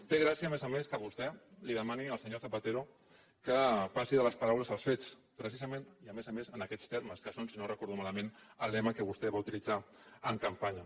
té gràcia a més a més que vostè li demani al senyor zapatero que passi de les paraules als fets precisament i a més a més en aquests termes que són si no ho recordo malament el lema que vostè va utilitzar en campanya